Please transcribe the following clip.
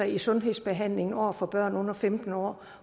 i sundhedsbehandlingen over for børn under femten år